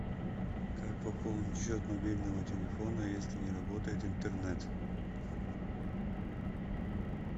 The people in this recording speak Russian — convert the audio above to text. как пополнить счет мобильного телефона если не работает интернет